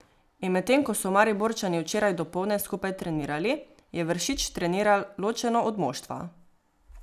In medtem ko so Mariborčani včeraj dopoldne skupaj trenirali, je Vršič treniral ločeno od moštva.